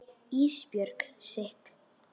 Ísbjörg sitt.